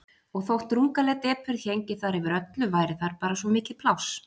Og þótt drungaleg depurð héngi þar yfir öllu væri þar bara svo mikið pláss.